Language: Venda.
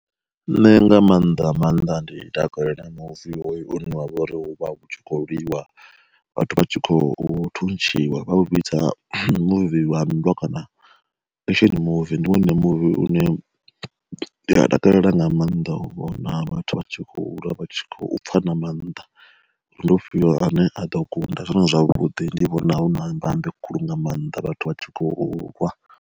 Nṋe nga maanḓa maanḓa ndi takalela muvi une wa vhori u vha tshi kho lwiwa vhathu vha tshi khou thuntshiwa vha u vhidza muvi wa nndwa kana action movie, ndi wone muvi une ndi a takalela nga maanḓa u vhona vhathu vha tshi khou lwa vha khou pfa na mannḓa ri ndi u fhio ane a ḓo kunda, zwone zwavhudi ndi vhona hu na mbambe khulu nga maanḓa vhathu vha tshi khou lwa.